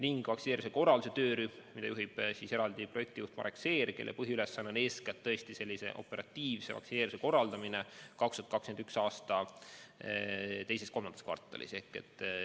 On ka vaktsineerimise korralduse töörühm, mida juhib projektijuht Marek Seer, kelle põhiülesanne on eeskätt operatiivse vaktsineerimise korraldamine 2021. aasta teises-kolmandas kvartalis.